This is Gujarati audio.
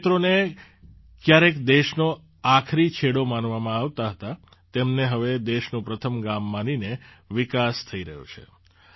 જે ક્ષેત્રોને ક્યારેક દેશનો આખરી છેડો માનવામાં આવતાં હતાં તેમને હવે દેશનું પ્રથમ ગામ માનીને વિકાસ થઈ રહ્યો છે